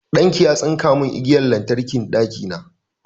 Ɗan ki ya tsinka mun igiyar lantarkin ɗakina